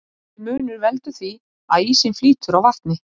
Þessi munur veldur því að ísinn flýtur á vatni.